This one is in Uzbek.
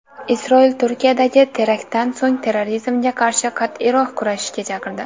Isroil Turkiyadagi teraktdan so‘ng terrorizmga qarshi qat’iyroq kurashishga chaqirdi.